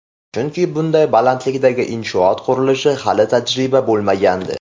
Chunki bunday balandlikdagi inshoot qurilishi hali tajribada bo‘lmagandi.